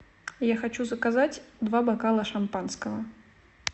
я хочу заказать два бокала шампанского